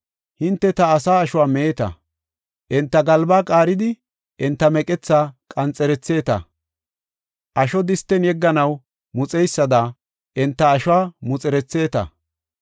Hinte ta asaa ashuwa meeta; enta galbaa qaaridi; enta meqethaa qanxeretheta; asho disten yegganaw muxeysada enta ashuwa muxeretheta.